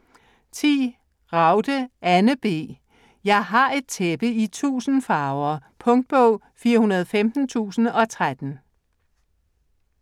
Ragde, Anne B.: Jeg har et tæppe i tusind farver Punktbog 415013